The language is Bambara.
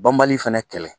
Banbali fɛnɛ kɛlɛ